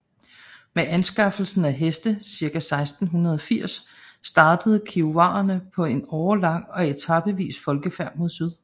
Med anskaffelsen af heste cirka 1680 startede kiowaerne på en årelang og etapevis folkefærd mod syd